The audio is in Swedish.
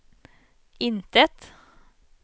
intet